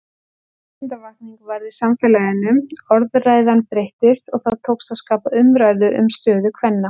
Vitundarvakning varð í samfélaginu, orðræðan breyttist og það tókst að skapa umræðu um stöðu kvenna.